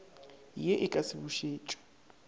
ye e ka se bušetšwe